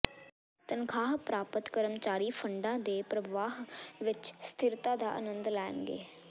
ਤਨਖਾਹ ਪ੍ਰਾਪਤ ਕਰਮਚਾਰੀ ਫੰਡਾਂ ਦੇ ਪ੍ਰਵਾਹ ਵਿੱਚ ਸਥਿਰਤਾ ਦਾ ਅਨੰਦ ਲੈਣਗੇ